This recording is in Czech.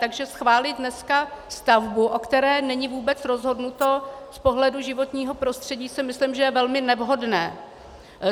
Takže schválit dneska stavbu, o které není vůbec rozhodnuto z pohledu životního prostředí, si myslím, že je velmi nevhodné.